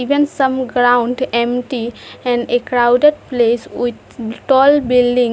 Even some ground empty and a crowded place with tall buildings.